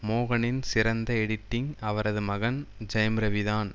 மோகனின் சிறந்த எடிட்டிங் அவரது மகன் ஜெயம்ரவிதான்